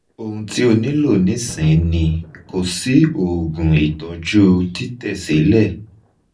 ohun ti o nilo nisin ni ko si oogun itoju titesile